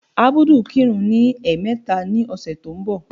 Ábúdù kirun ní ẹ̀ẹ̀mẹta ní ọ̀sẹ̀ tó ń bọ̀.